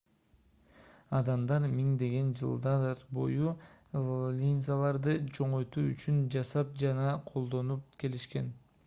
адамдар миңдеген жылдар бою линзаларды чоңойтуу үчүн жасап жана колдонуп келишкен